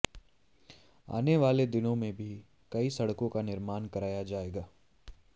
आने वाले दिनों में भी कई सड़कों का निर्माण कराया जाएगा